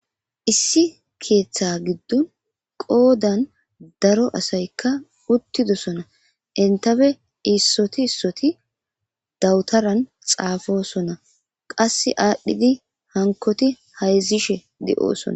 Issi keeththa giddon qoodan daro asaykka uttidosona entafe issoti issoti dawutaran xaafosona qass aadhdhidi hankoti hayzishe de'oosona.